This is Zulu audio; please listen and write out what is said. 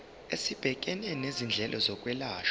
esibhekene nezindleko zokwelashwa